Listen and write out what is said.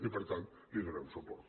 i per tant hi donem suport